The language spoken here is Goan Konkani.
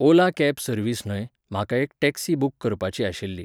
ओला कॅब सर्वीस न्हय, म्हाका एक टॅक्सी बूक करपाची आशिल्ली.